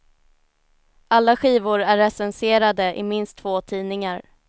Alla skivor är recenserade i minst två tidningar.